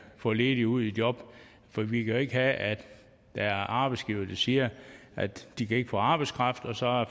få ledige ud i job for vi kan jo ikke have at der er arbejdsgivere der siger at de ikke kan få arbejdskraft og så